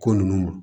Ko nunnu